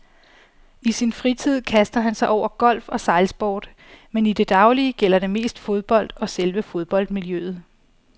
I sin fritid kaster han sig over golf og sejlsport, men i det daglige gælder det mest fodbold og selve fodboldmiljøet.